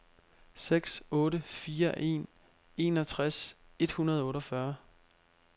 seks otte fire en enogtres et hundrede og otteogfyrre